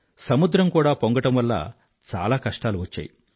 సముద్రం కూడా పొంగడం వల్ల చాలా కష్టాలు వచ్చాయి